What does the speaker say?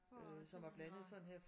For simpelthen at